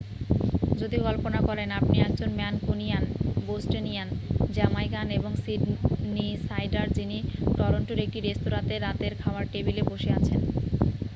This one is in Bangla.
যদি কল্পনা করেন আপনি একজন ম্যানকুনিয়ান বোস্টোনিয়ান জ্যামাইকান এবং সিডনিসাইডার যিনি টরন্টোর একটি রেস্তোঁরাতে রাতের খাওয়ার টেবিলে বসে আছেন